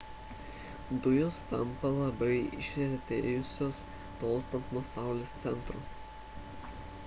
dujos tampa labiau išretėjusios tolstant nuo saulės centro